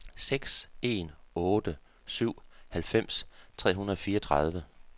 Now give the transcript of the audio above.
seks en otte syv halvfems tre hundrede og fireogtredive